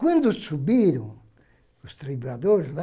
Quando subiram os lá,